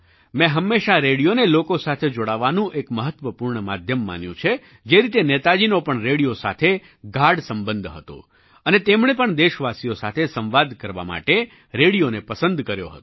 મેં હંમેશાં રેડિયોને લોકો સાથે જોડાવાનું એક મહત્ત્વપૂર્ણ માધ્યમ માન્યું છે જે રીતે નેતાજીનો પણ રેડિયો સાથે ગાઢ સંબંધ હતો અને તેમણે પણ દેશવાસીઓ સાથે સંવાદ કરવા માટે રેડિયોને પસંદ કર્યો હતો